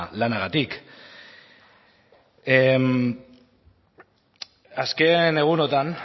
lanagatik azken egunotan